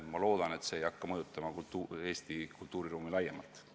Ma loodan, et see ei hakka mõjutama Eesti kultuuriruumi laiemalt.